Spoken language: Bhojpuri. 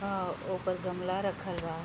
अ ओपर गमला रखल बा।